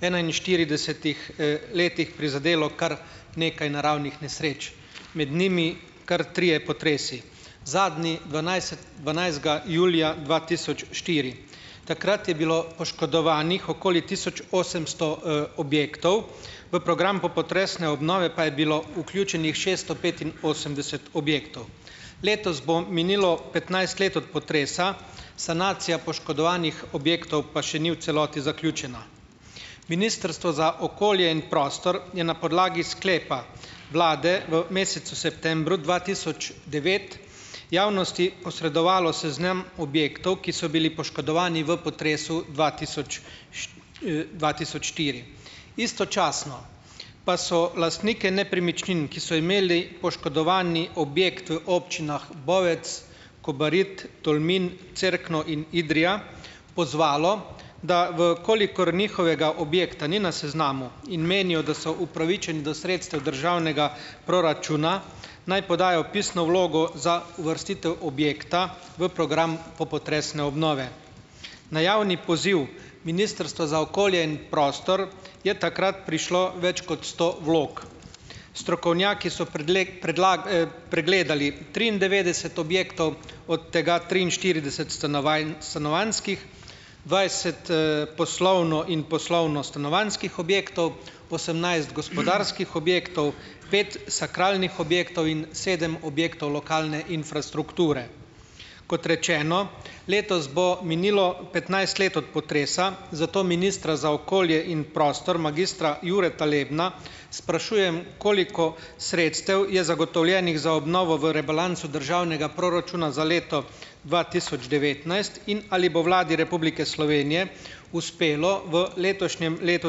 enainštiridesetih, letih prizadelo kar nekaj naravnih nesreč, med njimi kar trije potresi. Zadnji dvanajstega julija dva tisoč štiri. Takrat je bilo poškodovanih okoli tisoč osemsto, objektov, v program popotresne obnove pa je bilo vključenih šeststo petinosemdeset objektov. Letos bo minilo petnajst let od potresa, sanacija poškodovanih objektov pa še ni v celoti zaključena. Ministrstvo za okolje in prostor je na podlagi sklepa vlade v mesecu septembru dva tisoč devet javnosti posredovalo seznam objektov, ki so bili poškodovani v potresu dva tisoč dva tisoč štiri istočasno pa so lastniki nepremičnin, ki so imeli poškodovani objekt v občinah Bovec, Kobarid, Tolmin, Cerkno in Idrija, pozvalo, da v kolikor njihovega objekta ni na seznamu in menijo, da so upravičeni do sredstev državnega proračuna, naj podajo pisno vlogo za uvrstitev objekta v program popotresne obnove. Na javni poziv ministrstva za okolje in prostor je takrat prišlo več kot sto vlog. Strokovnjaki so pregledali triindevetdeset objektov, od tega triinštirideset stanovanjskih, dvajset, poslovno in poslovno-stanovanjskih objektov, osemnajst gospodarskih objektov, pet sakralnih objektov in sedem objektov lokalne infrastrukture. Kot rečeno, letos bo minilo petnajst let od potresa, zato ministra za okolje in prostor, magistra Jureta Lebna, sprašujem, koliko sredstev je zagotovljenih za obnovo v rebalansu državnega proračuna za leto dva tisoč devetnajst in ali bo Vladi Republike Slovenije uspelo v letošnjem letu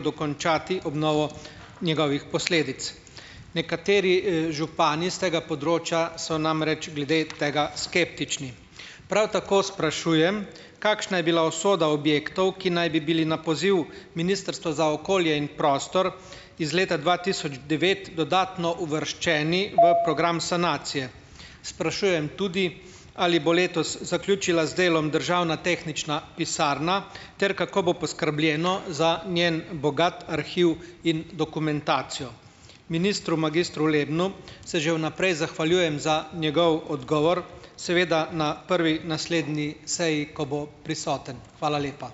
dokončati obnovo njegovih posledic? Nekateri, župani s tega področja so namreč glede tega skeptični. Prav tako sprašujem, kakšna je bila usoda objektov, ki naj bi bili na poziv Ministrstva za okolje in prostor, iz leta dva tisoč devet dodatno uvrščeni v program sanacije? Sprašujem tudi, ali bo letos zaključila z delom državna tehnična pisarna ter kako bo poskrbljeno za njen bogat arhiv in dokumentacijo? Ministru magistru Lebnu se že vnaprej zahvaljujem za njegov odgovor, seveda na prvi naslednji seji, ko bo prisoten. Hvala lepa.